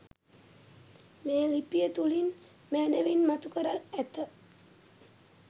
මේ ලිපිය තුළින් මැනවින් මතු කර ඇත.